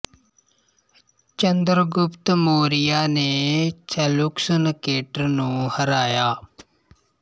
ਚੰਦਰ ਗੁਪਤ ਮੌਰਿਆ ਨੇ Seleucus Nicator ਨੂੰ ਹਰਾਇਆ